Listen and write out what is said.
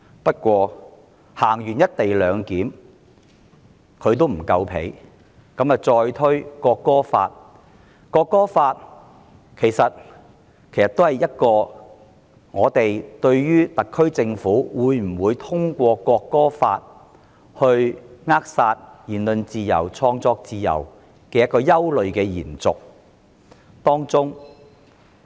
不過，在實施"一地兩檢"後她仍未滿足，再推《中華人民共和國國歌法》，而這其實也是我們對特區政府會否藉此扼殺言論自由和創作自由的憂慮的延續。